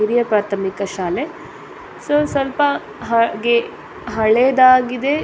ಹಿರಿಯ ಪ್ರಾಥಮಿಕ ಶಾಲೆ ಸೊ ಸ್ವಲ್ಪ ಹಾಗೆ ಹಳೇದಾಗಿದೆ .